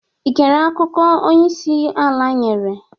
I gere akụkọ onyeisi ala nyere?